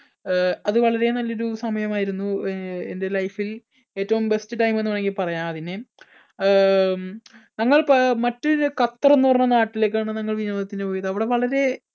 അഹ് അത് വളരെ നല്ലൊരു സമയമായിരുന്നു. എൻടെ life ൽ ഏറ്റവും best time എന്നും വേണമെങ്കിൽ പറയാം അതിനെ. അഹ് ഞങ്ങൾ മറ്റൊരു ഖത്തർ എന്ന് പറഞ്ഞ നാട്ടിലെക്കാണ് ഞങ്ങൾ വിനോദത്തിന് പോയത് അവിടെ വളരെ